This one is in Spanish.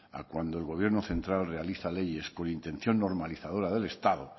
a cuando el gobierno central realiza leyes con intención normalizadora del estado